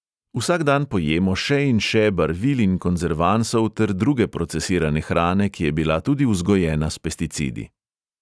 Vsak dan pojemo še in še barvil in konzervansov ter druge procesirane hrane, ki je bila tudi vzgojena s pesticidi.